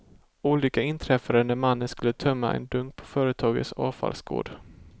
Olyckan inträffade när mannen skulle tömma en dunk på företagets avfallsgård.